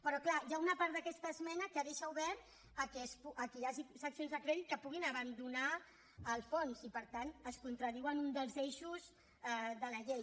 però clar hi ha una part d’aquesta esmena que deixa obert que hi hagi seccions de crèdit que puguin abandonar el fons i per tant es contradiu amb un dels eixos de la llei